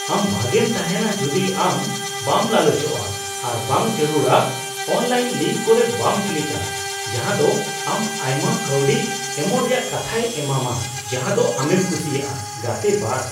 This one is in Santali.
ᱟᱢ ᱵᱷᱟᱜᱮᱢ ᱛᱟᱦᱮᱱᱟ ᱡᱩᱫᱤ ᱟᱢ ᱵᱟᱢ ᱞᱟᱞᱚᱪᱚᱜᱼᱟ ᱟᱨ ᱵᱟᱝ ᱡᱟᱹᱨᱩᱲᱟᱜ ᱚᱱᱞᱟᱭᱤᱱ ᱞᱤᱝᱠ ᱠᱩᱨᱮ ᱵᱟᱱ ᱠᱞᱤᱠᱟ ᱡᱟᱦᱟ ᱫᱚ ᱟᱢ ᱟᱭᱢᱟ ᱠᱟᱹᱣᱰᱤ ᱮᱢᱚᱜ ᱨᱮᱭᱟᱜ ᱠᱟᱛᱷᱟᱭ ᱮᱢᱟᱢᱟ ᱡᱟᱦᱟᱸᱫᱚ ᱟᱢᱮᱢ ᱠᱩᱥᱤᱭᱟᱜᱼᱟ᱾ (ᱜᱟᱛᱮ ᱒)